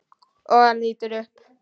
Og hann lítur upp.